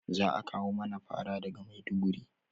Za a kawo mana fara daga maiduguri